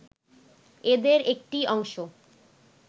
এদের একটি অংশ